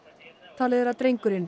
talið er að drengurinn